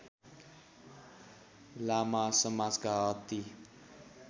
लामा समाजका अति